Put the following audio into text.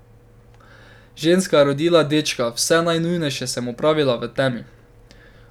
Ženska je rodila dečka, vse najnujnejše sem opravila v temi.